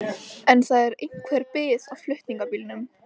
En það er einhver bið á flutningabílnum.